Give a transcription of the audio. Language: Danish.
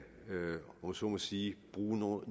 så må sige bruge noget